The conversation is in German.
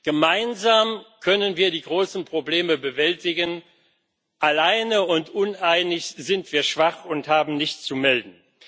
Gemeinsam können wir die großen Probleme bewältigen, alleine und uneinig sind wir schwach und haben nichts zu melden.